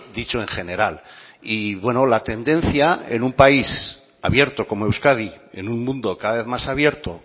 dicho en general y bueno la tendencia en un país abierto como euskadi en un mundo cada vez más abierto